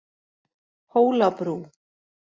Hólabrú